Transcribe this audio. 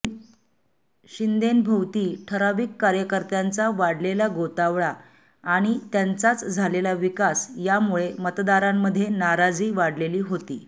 शिंदेंभोवती ठराविक कार्यकर्त्यांचा वाढलेला गोतावळा आणि त्यांचाच झालेला विकास यामुळे मतदारांमध्ये नाराजी वाढलेली होती़